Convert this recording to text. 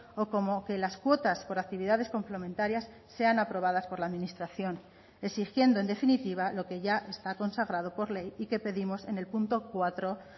o como que las cuotas por actividades complementarias sean aprobadas por la administración exigiendo en definitiva lo que ya está consagrado por ley y que pedimos en el punto cuatro